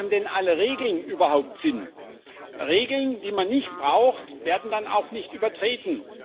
Haben denn alle Regeln überhaupt Sinn? Regeln, die man nicht braucht, werden dann auch nicht übertreten.